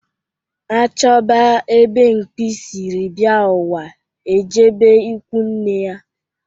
A chọba ebe nwamkpi siri bịa ụwa ejebe ikunne ya